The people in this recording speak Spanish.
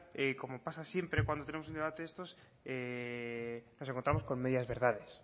como pasa siempre cuando tenemos un debate de estos nos encontramos con medias verdades